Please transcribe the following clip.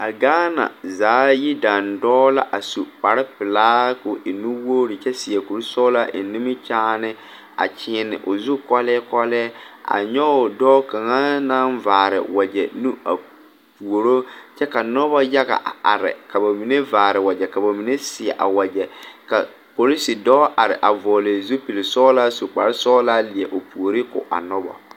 A gaana zaa yidandɔɔ la su kparepelaa ka o e nuwogre kyɛ seɛ kurisɔglaa eŋ nimikyaane a kyeene o zu kɔlii kɔlii a nyɔge dɔɔ kaŋa naŋ vaare wagyɛ nu a puoro kyɛ ka noba yaga a are ka ba mine vaare wagyɛ ka ba mine seɛ a wagyɛ ka porosi dɔɔ are a vɔgle zupilsɔglaa su kparesɔglaa leɛ o puori ko a noba.